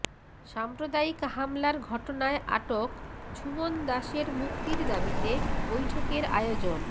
সাম্প্রদায়িক হামলার ঘটনায় আটক ঝুমন দাশের মুক্তির দাবিতে বৈঠকের আয়োজন